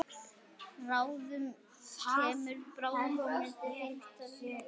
Bráðum kemur birtan hlý.